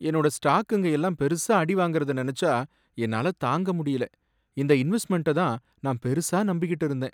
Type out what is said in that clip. என்னோட ஸ்டாக்குங்க எல்லாம் பெருசா அடி வாங்கிடுச்சுங்கிறத நனச்சா என்னால தாங்க முடியல. இந்த இன்வெஸ்ட்மென்ட்ட தான் நான் பெருசா நம்பிக்கிட்டு இருந்தேன்.